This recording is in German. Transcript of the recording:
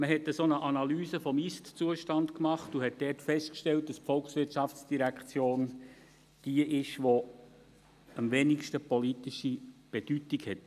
Man hat eine Analyse des Ist-Zustandes gemacht und stellte dabei fest, dass die VOL jene Direktion ist, die im Moment am wenigsten politische Bedeutung hat.